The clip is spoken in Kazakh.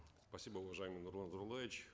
спасибо уважаемый нурлан зайроллаевич